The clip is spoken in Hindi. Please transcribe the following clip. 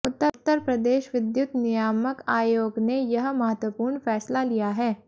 उत्तर प्रदेश विद्युत नियामक आयोग ने यह महत्वपूर्ण फैसला लिया है